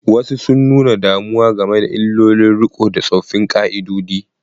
Wasu sun nuna damuwa game da illolin riko da tsoffin ƙa'idodi.